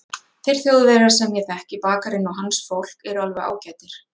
Þeir Þjóðverjar sem ég þekki, bakarinn og hans fólk, eru alveg ágætir.